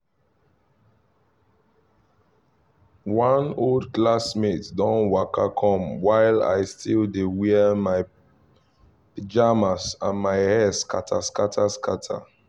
one old classmate don waka come while i still dey wear my pajamas and my hair scatter scatter scatter